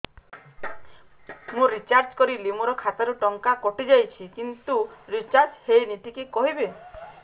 ମୁ ରିଚାର୍ଜ କରିଲି ମୋର ଖାତା ରୁ ଟଙ୍କା କଟି ଯାଇଛି କିନ୍ତୁ ରିଚାର୍ଜ ହେଇନି ଟିକେ କହିବେ